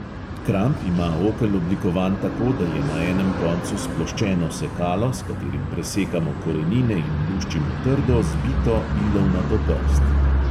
Kramp ima okel oblikovan tako, da je na enem koncu sploščeno sekalo, s katerim presekamo korenine in luščimo trdo, zbito ilovnato prst.